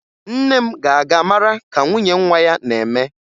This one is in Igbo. Nne m ga-aga mara ka nwunye nwa ya na-eme